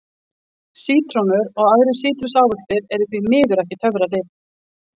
Sítrónur og aðrir sítrusávextir eru því miður ekki töfralyf.